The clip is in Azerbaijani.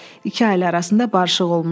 İki ailə arasında barışıq olmuşdu.